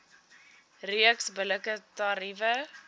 reeks billike tariewe